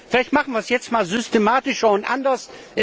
Vielleicht machen wir das jetzt mal systematischer und anders.